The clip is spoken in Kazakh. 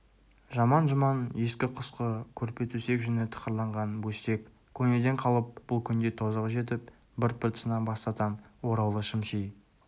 жаман-жұман ескі-құсқы көрпе-төсек жүні тықырланған бөстек көнеден қалып бұл күнде тозығы жетіп бырт-бырт сына бастатан ораулы шым ши